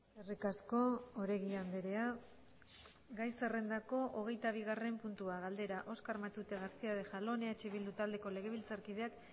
eskerrik asko oregi andrea gai zerrendako hogeitabigarren puntua galdera oskar matute garcía de jalón eh bildu taldeko legebiltzarkideak